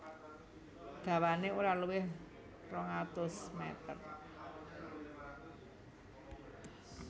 Dawané ora luwih rong atus meter